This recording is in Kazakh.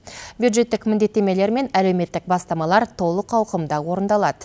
бюджеттік міндеттемелер мен әлеуметтік бастамалар толық ауқымда орындалады